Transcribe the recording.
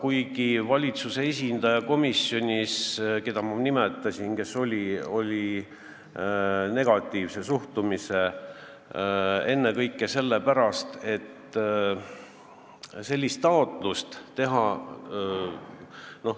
Aga valitsuse esindaja, keda ma nimetasin, esindas komisjonis negatiivset suhtumist, ennekõike sellepärast, et sellist taotlust pole kerge teha.